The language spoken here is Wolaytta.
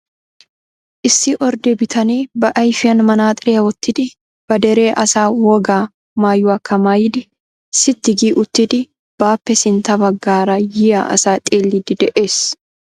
Issi ordde bitanee ba ayfiyaan manaxxiriyaa wottidi ba dere asaa wogaa maayuwakka maayidi sitti gi uttidi baappe sintta baggaara yiya asa xeellidi de'ees.